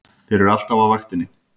Þeir eru alltaf á vaktinni!